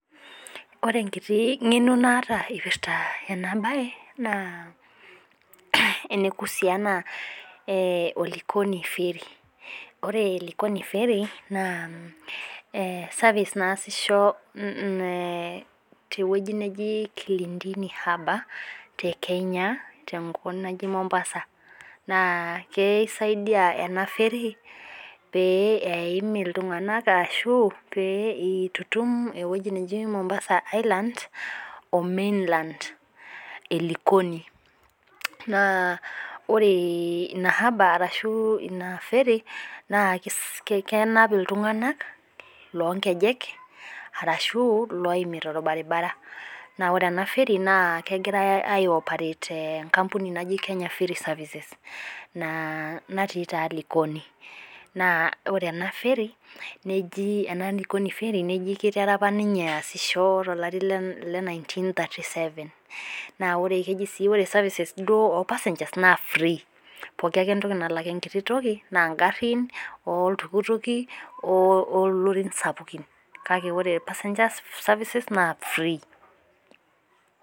Ore enkiti ng'eno naata ipirta enabae, naa enekusiana o Likoni ferry. Ore Likoni ferry, naa service naasisho tewoji neji Kilindini harbour te Kenya tenkop naji Mombasa. Naa keisaidia ena ferry pee eim iltung'anak ashu pee itutum ewueji neji Mombasa island o mainland e Likoni. Naa ore ina harbour arashu ina ferry, naa kenap iltung'anak lonkejek, arashu loimita orbaribara. Na ore ena ferry naa kegirai ai operate tenkampuni naji Kenya ferry services. Naa natii taa Likoni. Naa ore ena ferry, neji ena Likoni ferry, neji kitera apa ninye aasisho tolari le nineteen thirty seven. Naa ore keji sii ore services duo or passengers naa free. Pooki ake entoki nalak enkiti toki, naa garrin, oltukutuki, olorin sapukin. Kake ore passengers services, naa free.